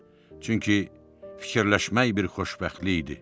Çünki fikirləşmək bir xoşbəxtlik idi.